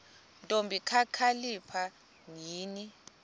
ntombi kakhalipha yini